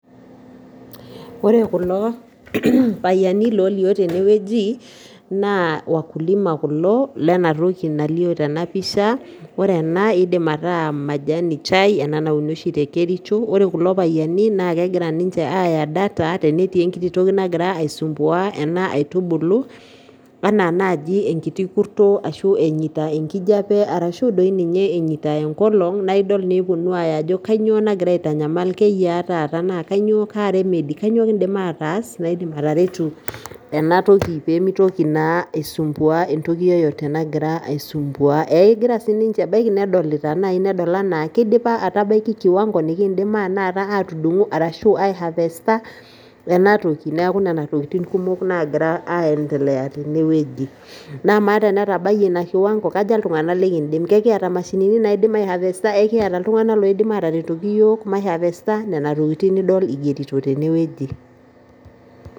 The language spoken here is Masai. Ore kulo payiani olio tene wueji naa wakulima kulo lenatoki nalio tenapisha ore ena kindim ataa majani chai ena nauni oshi tekericho ore kulo payiani nakegira nche aya data tenetii enkiti toki nagira aisumbua ninche enaitubulu anaa nai enkiti kurto ashu enyita enkijape ashu nye einasita enkolong nidol egira aya apuo adol ajo kanyio nagira aitanyamal, keyia taata ,kanyio kindim ataas atareutu enatoki pemitoki na aisumbua ,egira sininche adolita ana kidipa atabaki kiwango nikindim nai atudungu ashu ai harvesta ashu enatoki neaku nona tokitin nagira aiendelea tenewueji, namaa tenetabayie inakiwango kaja ltunganak lekindim, en kiata mashinini nikindim aihavesta, ikiata ltung'anak oidim ataretoki yiok maihavesta, nona tokitin idol tenewueji.